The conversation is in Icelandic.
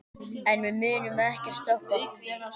En við munum ekkert stoppa.